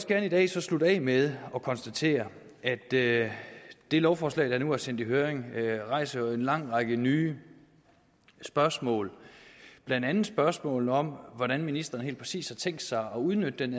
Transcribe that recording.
gerne i dag slutte af med at konstatere at det det lovforslag der nu er sendt i høring jo rejser en lang række nye spørgsmål blandt andet spørgsmålet om hvordan ministeren helt præcis har tænkt sig at udnytte den